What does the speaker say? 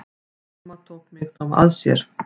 Amma tók mig þá að sér.